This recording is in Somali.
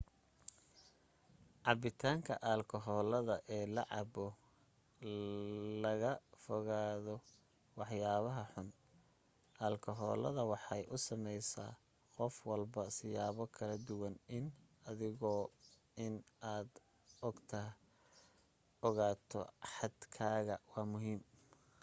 cabitaanka alkakoolada eel la cabo iyado laga foganayo waxyabaha xun alkakoolada waxay u sameysa qof walba siyabo kala duwan iyo adiguna in aad ogato xad kaaga waa muhiim